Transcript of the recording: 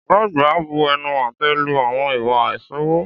Ọ̀gá àgbà bu ẹnu àtẹ́ lu àwọn ìwà àìṣòwò.